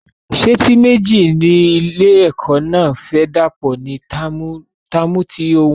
Sẹ́ẹ̀tì méji ni ilé ẹ̀kọ́ náà fẹ dàpò ní táàmù tí òún bo